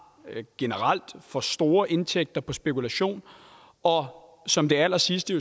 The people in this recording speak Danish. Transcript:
for store indtægter på spekulation og som det allersidste